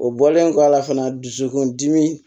O bɔlen kɔ a la fana dusukun dimi